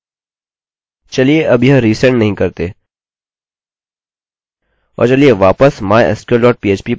चलिए अब यह रिसेंड नहीं करते और चलिए वापस mysqlphp पर चलते हैं